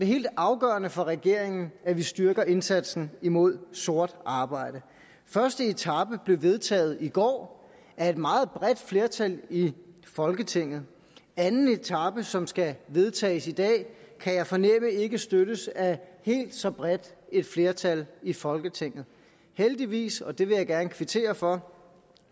helt afgørende for regeringen at vi styrker indsatsen imod sort arbejde første etape blev vedtaget i går af et meget bredt flertal i folketinget anden etape som skal vedtages i dag kan jeg fornemme ikke støttes af helt så bredt et flertal i folketinget heldigvis og det vil jeg gerne kvittere for